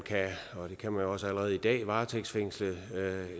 og det kan man jo også allerede i dag kan varetægtsfængsle